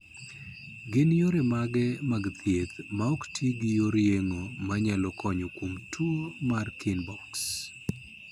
Gin yore mage mag thieth maok ti gi yor yeng'o manyalo konyo kuom tuwo mar Kienbocks?